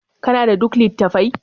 kana da duk lit? attafai